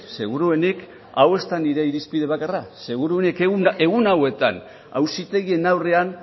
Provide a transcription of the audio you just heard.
seguruenik hau ez da nire irizpide bakarra seguruenik egun hauetan auzitegien aurrean